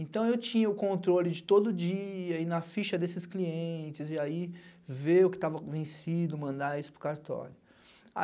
Então, eu tinha o controle de todo dia e na ficha desses clientes, e aí ver o que tava vencido, mandar isso para o cartório.